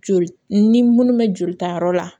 Joli ni munnu bɛ jolita yɔrɔ la